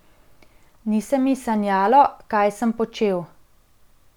Ni se mi sanjalo, kaj sem počel.